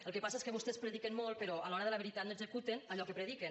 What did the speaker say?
el que passa és que vostès prediquen molt però a l’hora de la veritat no executen allò que prediquen